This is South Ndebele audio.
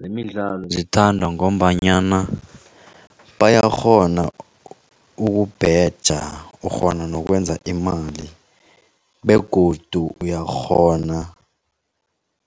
Zemidlalo zithandwa ngombanyana bayakghona ukubheja ukghona nokwenza imali begodu uyakghona